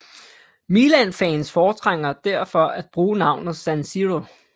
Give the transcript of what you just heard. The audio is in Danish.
Milanfans foretrækker derfor at bruge navnet San Siro